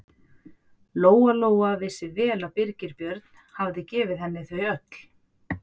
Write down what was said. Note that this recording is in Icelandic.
Lóa-Lóa vissi vel að Birgir Björn hafði gefið henni þau öll.